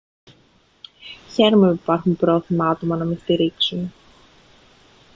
χαίρομαι που υπάρχουν πρόθυμα άτομα να με στηρίξουν